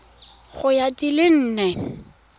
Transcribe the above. ya go di le nne